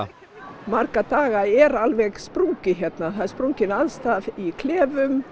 marga daga er alveg sprungið hérna það er sprungin aðstaða í klefum